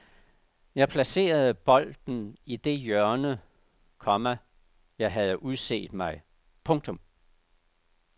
Jeg placerede bolden i det hjørne, komma jeg havde udset mig. punktum